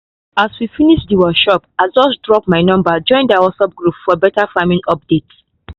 as we finish the workshop i just drop my number join their whatsapp group for better farming updates